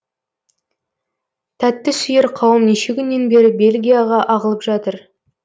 тәттісүйер қауым неше күннен бері бельгияға ағылып жатыр